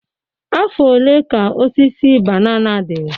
Afọ ole ka osisi banana dị?